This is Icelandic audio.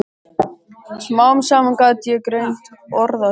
Smám saman gat ég greint orðaskil.